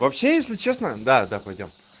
вообще если честно да да пойдём